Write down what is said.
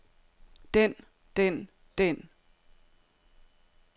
den den den